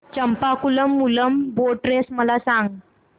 Champakulam Moolam boat race मला सांग